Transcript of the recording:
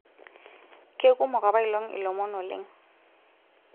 kekumok apailong ilomon oleng'